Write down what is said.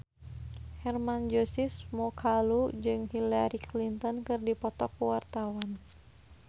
Hermann Josis Mokalu jeung Hillary Clinton keur dipoto ku wartawan